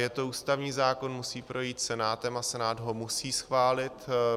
Je to ústavní zákon, musí projít Senátem a Senát ho musí schválit.